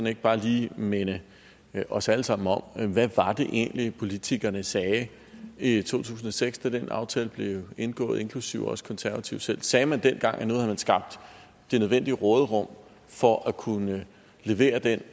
ikke bare lige minde os alle sammen om hvad det egentlig var politikerne sagde i to tusind og seks da den aftale blev indgået inklusive også konservative selv sagde man dengang at nu havde man skabt det nødvendige råderum for at kunne levere den